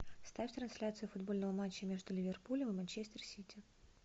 ставь трансляцию футбольного матча между ливерпулем и манчестер сити